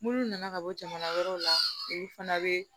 Munnu nana ka bɔ jamana wɛrɛw la olu fana be